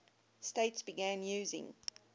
states began using